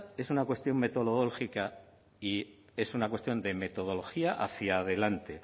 es una cuestión metodológica y es una cuestión de metodología hacia adelante